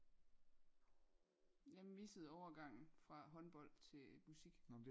Jeg missede overgangen fra håndbold til musik